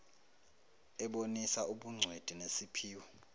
ebonisa ubugcwethi nesiphiwo